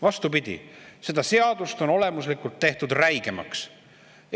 Vastupidi, seda seadust on olemuslikult räigemaks tehtud.